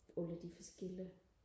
alle de forskellige